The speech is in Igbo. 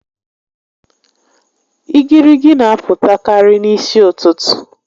Igirigi n'apụtakarị n'isi ụtụtụ